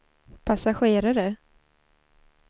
passagerare